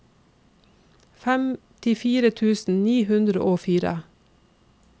femtifire tusen ni hundre og fire